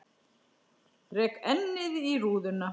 Rek ennið í rúðuna.